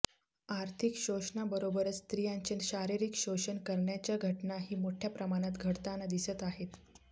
आर्थिक शोषणाबरोबरच स्त्रियांचे शारीरिक शोषण करण्याच्या घटनाही मोठय़ा प्रमाणात घडताना दिसत आहेत